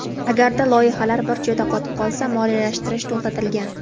Agarda loyihalar bir joyda qotib qolsa, moliyalashtirish to‘xtatilgan.